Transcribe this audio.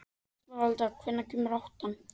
Esmeralda, hvenær kemur áttan?